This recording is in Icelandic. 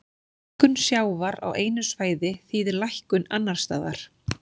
Hækkun sjávar á einu svæði þýðir lækkun annars staðar.